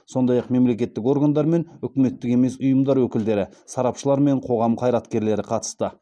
сондай ақ мемлекеттік органдар мен үкіметтік емес ұйымдар өкілдері сарапшылар мен қоғам қайраткерлері қатысты